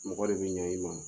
Mɔgɔ de bɛ ɲɛ i ma